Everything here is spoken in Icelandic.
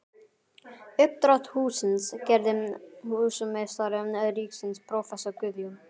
Uppdrátt hússins gerði húsameistari ríkisins prófessor Guðjón